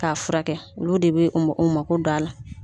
Ka fura kɛ olu de bɛ u ma u mako do a la.